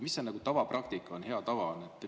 Mis see tavapraktika, hea tava on?